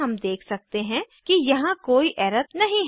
हम देख सकते हैं कि यहाँ कोई एरर नहीं है